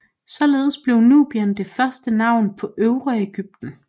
Således blev Nubien det første navn på Øvre Egypten